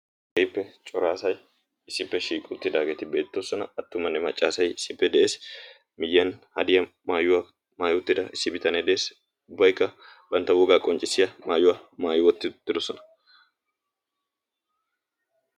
geippe coraasay issippe shiiqi uttidaageeti beettoosona attumanne maccaasai issippe des miyyiyan hadiya maayuwaa maayoottida issi bitanee de'es ubbaikka bantta wogaa qonccissiya maayuwaa maayi wotti didosona